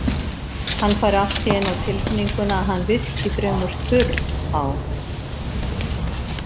Hann fær allt í einu á tilfinninguna að hann virki fremur þurr á